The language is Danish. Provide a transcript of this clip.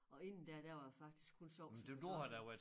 Og inden da der var det faktisk kun sovs og kartofler